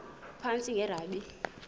phantsi enge lrabi